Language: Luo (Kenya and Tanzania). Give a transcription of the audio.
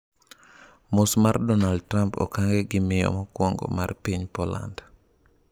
Mos mar Donald Trump okange gi miyo mokwongo mar piny Poland